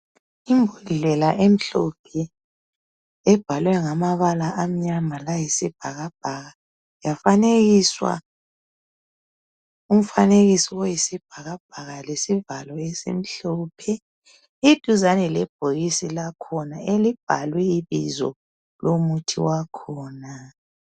Imbodlela emhlophe ebhalwe ngamabala amnyama layisibhakabhaka .Yafanekiswa umfanekiso oyisibhakabhaka ,lesivalo esimhlophe. Iduzane lebhokisi lakhona elibhalwe ibizo lomuthi wakhona.